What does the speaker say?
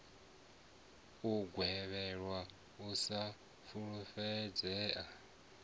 u gwevheliwa u sa fulufhedzea